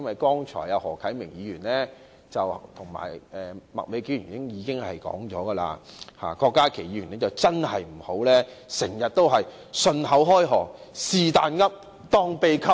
剛才何啟明議員及麥美娟議員已就《條例草案》發言，因此郭家麒議員真的不要時常信口開河，"是但噏，當秘笈"。